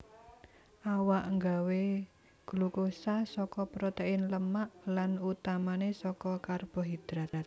Awak nggawé glukosa saka protein lemak lan utamané saka karbohidrat